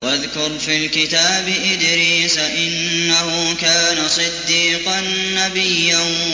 وَاذْكُرْ فِي الْكِتَابِ إِدْرِيسَ ۚ إِنَّهُ كَانَ صِدِّيقًا نَّبِيًّا